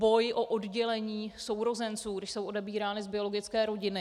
Boj o oddělení sourozenců, když jsou odebírány z biologické rodiny.